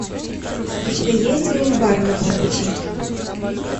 у тебя есть гриль бар на полпути